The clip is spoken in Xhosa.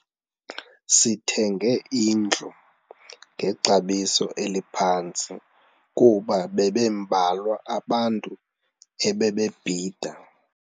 Sithenge indlu ngexabiso eliphantsi kuba bebembalwa abantu ebebebhida.